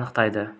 анықтады